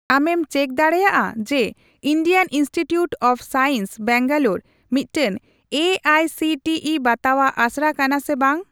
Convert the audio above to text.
ᱟᱢᱮᱢ ᱪᱮᱠ ᱫᱟᱲᱮᱭᱟᱜᱼᱟ ᱡᱮ Indian Institute of Science Bangalore ᱢᱤᱫᱴᱟᱝ A I C T E ᱵᱟᱛᱟᱣᱟᱜ ᱟᱥᱲᱟ ᱠᱟᱱᱟ ᱥᱮ ᱵᱟᱝ ?